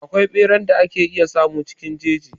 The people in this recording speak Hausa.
Akwai ɓeran da ake iya samu cikin jeji.